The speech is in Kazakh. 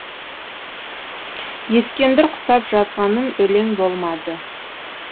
ескендір құсап жазғаным өлең болмады